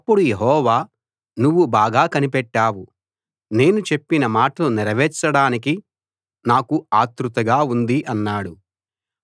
అప్పుడు యెహోవా నువ్వు బాగా కనిపెట్టావు నేను చెప్పిన మాటలు నెరవేర్చడానికి నాకు ఆత్రుతగా ఉంది అన్నాడు